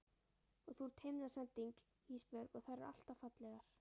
Og þú ert himnasending Ísbjörg og þær eru alltaf fallegar.